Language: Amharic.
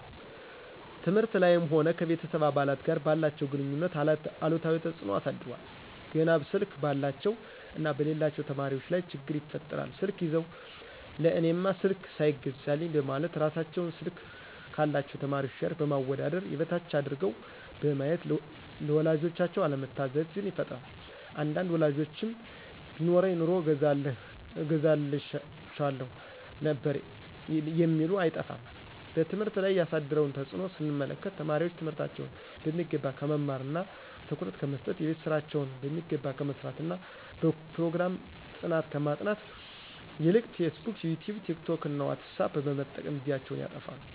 ትምህርት ላይም ሆነ ከቤተሰብ አባላት ጋር ባላቸው ግንኙነት አሉታዊ ተጽኖ አሳድሯል። ገና ስልክ ባላቸው እና በሌላቸው ተማሪዎች ላይ ችግር ይፈጥራል ስልክ ይዘው ለእኔማ ስልክ ሳይገዛልኝ በማለት እራሳቸውን ስልክ ካላቸው ተማሪዎች ጋር በማወዳደር የበታች አድርገው በማየት ለወላጆቻቸው አለመታዘዝን ይፈጥራል አንዳንድ ወላጆችም ቢኖረኝ ኑሮ እገዛላችሁ ነበር የሚሉ አይጠፉም። በትምህርት ላይ ያሳደረውን ተጽኖ ስንመለከት ተማሪዎች ትምህርታቸውን በሚገባ ከመማርና ትኩረት ከመሰጠት :የቤት ስራቸውን በሚገባ ከመስራትና በፕሮግራም ጥናት ከማጥናት ይልቅ ፌስቡክ :ይቲዩብ :ቲክቶክ: ዎትሳፕ በመጠቀም ጊዜያቸውን ያጠፋሉ